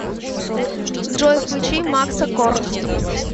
джой включи макса кор